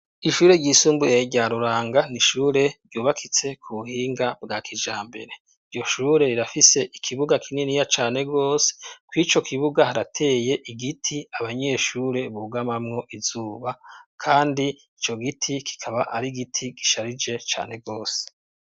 Ishure ryisumbure rya ruranga nishure ryubakitse ku buhinga bwa kijambere iryo shure rirafise ikibuga kinini ya cane rwose ko ico kibuga harateye igiti abanyeshure bugamamwo izuba, kandi ico giti kikaba ari igiti gisharije cane rwose.